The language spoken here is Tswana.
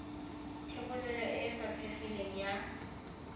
thebolo e e faphegileng ya